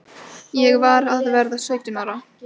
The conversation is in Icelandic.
Ég var að verða sautján ára.